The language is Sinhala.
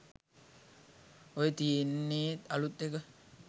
ඔය තියෙන්නේ අලුත් එක